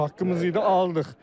Bizim haqqımız idi, aldıq.